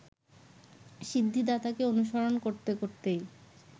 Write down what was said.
সিদ্ধিদাতাকে অনুসরণ করতে করতেই